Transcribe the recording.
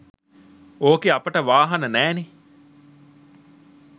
ඕකේ අපට වාහන නෑ නේ